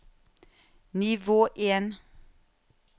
nivå en